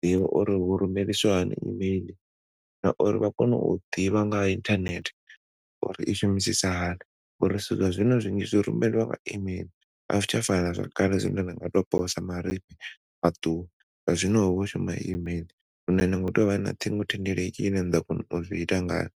ḓivha uri hu rumelisiwa hani e-mail nauri vha kone u ḓivha nga ha internet uri i shumisisa hani ngauri zwithu zwa zwino zwinzhi zwi rumelwa nga e-mail a zwi tsha fana na zwakale zwine na tshi tou posa marifhi a ṱuwa zwa zwino hu vho shuma e-mail hune ni khou tea u vha na ṱhingothendeleki ine na ḓo kona u zwiita ngayo.